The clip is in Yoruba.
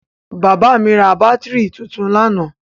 Bàbá mi ra bátírí tuntun lánàá.